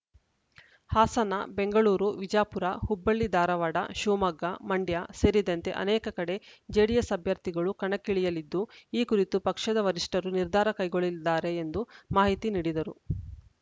ಹಾಸನ ಬೆಂಗಳೂರು ವಿಜಾಪುರ ಹುಬ್ಭಳ್ಳಿ ಧಾರವಾಡ ಶಿವಮೊಗ್ಗ ಮಂಡ್ಯ ಸೇರಿದಂತೆ ಅನೇಕ ಕಡೆ ಜೆಡಿಎಸ್‌ ಅಭ್ಯರ್ಥಿಗಳು ಕಣಕ್ಕಿಳಿಯಲಿದ್ದು ಈ ಕುರಿತು ಪಕ್ಷದ ವರಿಷ್ಠರು ನಿರ್ಧಾರ ಕೈಗೊಳ್ಳಲಿದ್ದಾರೆ ಎಂದು ಮಾಹಿತಿ ನೀಡಿದರು